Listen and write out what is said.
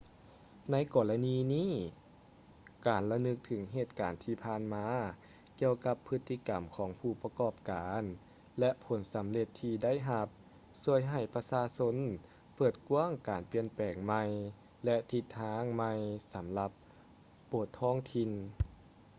ໃນກໍລະນີນີ້ ການລະນຶກເຖິງເຫດການທີ່ຜ່ານມາກ່ຽວກັບພຶດຕິກຳຂອງຜູ້ປະກອບການ ແລະ ຜົນສຳເລັດທີ່ໄດ້ຮັບ ຊ່ວຍໃຫ້ປະຊາຊົນເປີດກວ້າງການປ່ຽນແປງໃໝ່ ແລະ ທິດທາງໃໝ່ສຳລັບໂບດທ້ອງຖິ່ນ